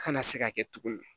Kana se ka kɛ tuguni